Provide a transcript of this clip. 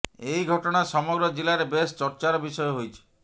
ଏହି ଘଟଣା ସମଗ୍ର ଜିଲାରେ ବେଶ ଚର୍ଚ୍ଚାର ବିଷୟ ହୋଇଛି